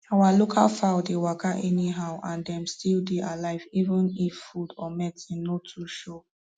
our local fowl dey waka anyhow and dem still dey alive even if food or medicine no too show